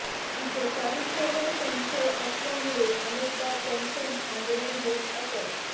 तिच्या चारित्र्यावर संक्षय असल्यामुळे अनेकदा त्यांच्यात भांडणे होत असत